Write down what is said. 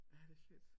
Ja det er fedt